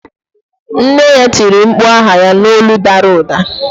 Nne ya tiri mkpu aha ya n'olu dara ụda.